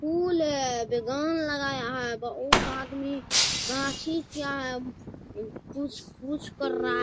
फूल है बागान लगाया है बहुत आदमी गाछी किया है कुछ-कुछ कर रहा है।